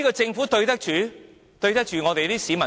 政府這樣對得起全港市民嗎？